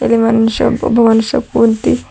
ಈ ಮನುಷ್ಯ ಒಬ್ಬ ಮನುಷ್ಯ ಕುಂತಿ--